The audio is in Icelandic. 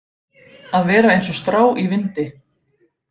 Að vera eins og strá í vindi